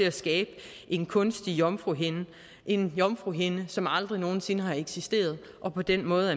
at skabe en kunstig jomfruhinde en jomfruhinde som aldrig nogen sinde har eksisteret og på den måde